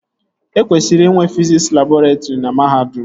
E kwesịrị inwe fiziks labọretrị na mahadum